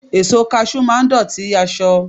Èso Kaṣú máa dọ̀tí aṣọ..